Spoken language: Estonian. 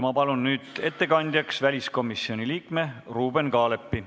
Ma palun nüüd ettekandjaks väliskomisjoni liikme Ruuben Kaalepi.